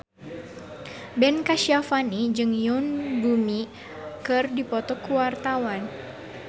Ben Kasyafani jeung Yoon Bomi keur dipoto ku wartawan